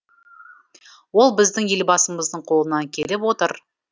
ол біздің елбасымыздың қолынан келіп отыр